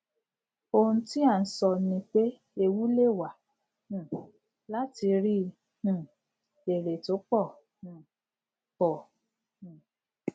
ohun tí à n sọ nípé ewu lewà um láti ríi um èrè tó pọ um pọ um